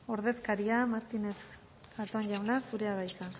ordezkaria martínez zatón jauna zurea da hitza